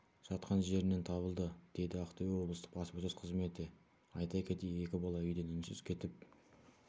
жатқан жерінен табылды деді ақтөбе облыстық баспасөз қызметі айта кетейік екі бала үйден үнсіз кетіп